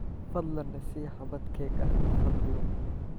Fadlan i sii xabbad keeg ah, fadlan.